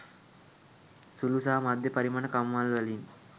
සුළු සහ මධ්‍ය පරිමාණ කම්හල්වලින්